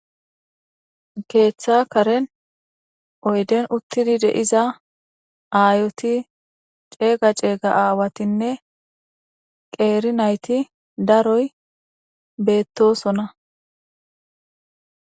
Keetha karen oyden uttidi deiza aayoti ceega ceega aawatinne qeeri nayti daroy beettosona